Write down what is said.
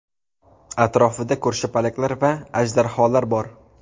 Atrofida ko‘rshapalaklar va ajdarholar bor.